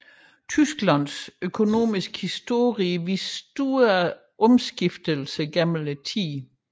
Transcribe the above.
Tysklands økonomiske historie udviser store omskiftelser gennem tiden